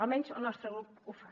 almenys el nostre grup ho fa